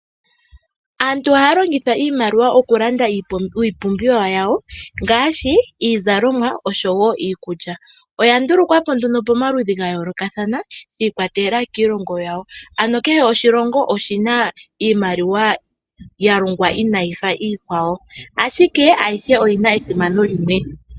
Aantu oha ya longitha iimaliwa okulanda iipumbiwa yawo ngaashi iizalomwa oshowo iikulya. Oya ndulukwapo nduno pomaludhi ga yoolokathana giikwatelela kiilongo yawo ano kehe oshilongo oshi na iimaliwa ya longwa inayi fa iikwawo ashike ayihe oyi na esimano limwe.